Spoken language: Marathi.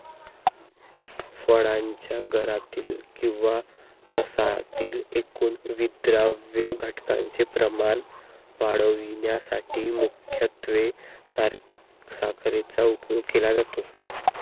फळांच्या गरातीलकिंवा रसातील एकूण विद्राव्य घटकांचे प्रमाण वाढविण्यासाठी मुख्यत्वे साखरेचा उपयोग केला जातो